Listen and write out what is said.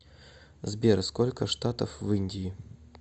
сбер сколько штатов в индии